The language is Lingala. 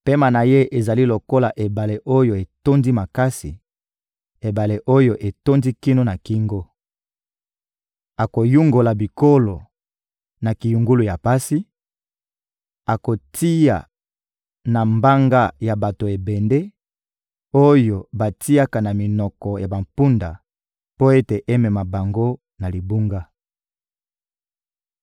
Pema na Ye ezali lokola ebale oyo etondi makasi, ebale oyo etondi kino na kingo. Akoyungola bikolo na kiyungulu ya pasi, akotia na mbanga ya bato ebende oyo batiaka na minoko ya bampunda mpo ete emema bango na libunga.